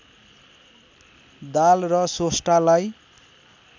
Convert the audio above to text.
दाल र सोस्टालाई